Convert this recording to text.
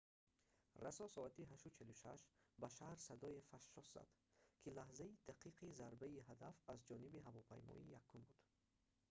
расо соати 8:46 ба шаҳр садое фашшос зад ки лаҳзаи дақиқи зарбаи ҳадаф аз ҷониби ҳавопаймои якум буд